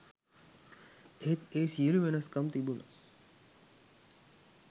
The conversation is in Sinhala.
එහෙත් ඒ සියළු වෙනස්කම් තිබුණ